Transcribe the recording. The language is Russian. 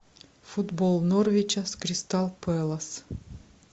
футбол норвича с кристал пэлас